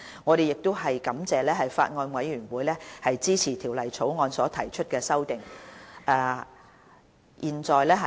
我們亦感謝法案委員會支持就《條例草案》提出的修正案。